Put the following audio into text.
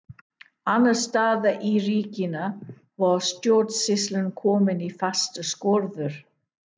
Annars staðar í ríkinu var stjórnsýslan komin í fastar skorður.